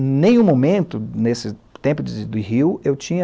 Em nenhum momento, nesse tempo de Rio, eu tinha